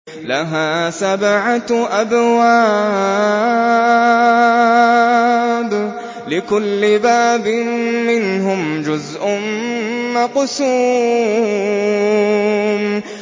لَهَا سَبْعَةُ أَبْوَابٍ لِّكُلِّ بَابٍ مِّنْهُمْ جُزْءٌ مَّقْسُومٌ